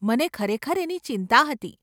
મને ખરેખર એની ચિંતા હતી.